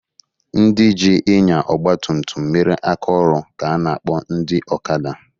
Ndị jị ịnya ọgba tutum mere aka ọlụ ka a na akpọ ndị ọkada.